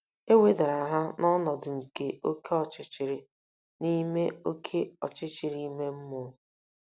E wedara ha n’ọnọdụ nke oké ọchịchịrị ime oké ọchịchịrị ime mmụọ.